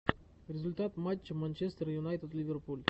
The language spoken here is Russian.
результат матча манчестер юнайтед ливерпуль